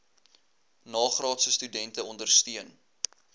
nagraadse studente ondersteun